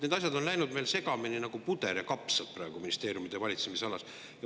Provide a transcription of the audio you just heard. Need asjad on läinud segamini nagu puder ja kapsad ministeeriumide valitsemisalas.